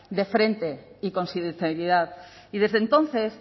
de frente y con sinceridad y desde entonces